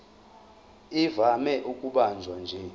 ivame ukubanjwa nje